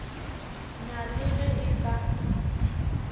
na le ge e ka